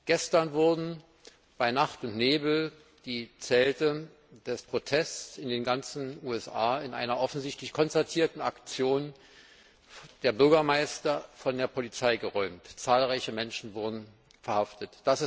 Gestern wurden bei Nacht und Nebel die Zelte des Protests in den ganzen USA in einer offensichtlich konzertierten Aktion der Bürgermeister von der Polizei geräumt und zahlreiche Menschen verhaftet.